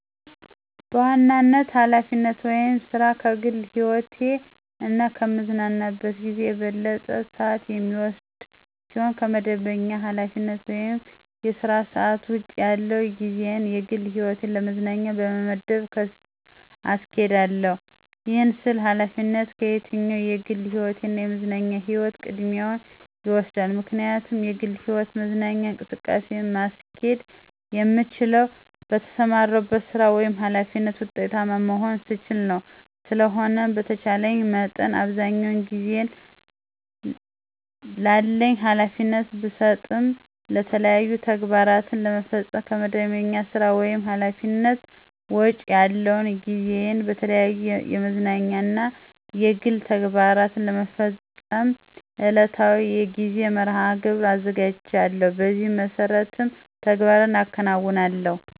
በዋናነት ኃላፊነት ወይም ሥራ ከግል ህይወቴ እና ከምዝናናበት ጊዜ የበለጠውን ሰአት የሚወስድ ሲሆን ከመደበኛ ኃላፊነት ወይም የሥራ ሰዓት ውጭ ያለውን ጊዜየን ለግል ህይወትና ለመዝናኛ በመመደብ አስኬዳለሁ። ይህን ስል ኃላፊነት ከየትኛውም የግል ህይወቴ እና የመዝናኛ ጊዜየ ቅድሚያውን ይወስዳል። ምክንያቱም የግል ህይወትና መዝናኛ እንቅስቃሴን ማስኬድ የምችለው በተሰማራሁበት ሥራ ወይም ኃላፊነት ውጤታማ መሆን ስችል ነው። ስለሆነም በተቻለኝ መጠን አብዛኛውን ጊዜየን ላለኝ ኃላፊነት ብሰጥም የተለያዩ ተግባራትን ለመፈፀም ከመደበኛ ሥራ ወይም ኃላፊነት ውጭ ያለውን ጊዜየን በተለያዩ የመዝናኛ እና የግል ተግባሮቸን ለመፈፀም ዕለታዊ የጊዜ መርሐ-ግብር አዘጋጃለሁ። በዚህ መሠረትም ተግባራትን አከናውናለሁ።